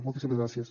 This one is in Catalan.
moltíssimes gràcies